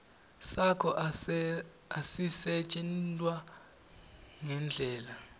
sakho asisetjentwa ngendlela